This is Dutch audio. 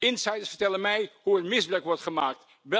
Insiders vertellen mij hoe hier misbruik wordt gemaakt.